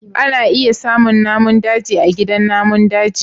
ana iya samun namun daji a gidan namun daji